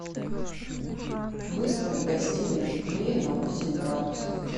выставь в гостиной теплее на восемь градусов